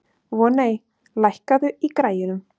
Voney, lækkaðu í græjunum.